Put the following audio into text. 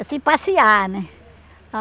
Assim, passear, né?